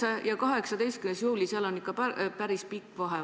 9. ja 18. juuli – seal on ikka päris pikk vahe.